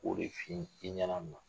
O de f'i ɲɛna nin na.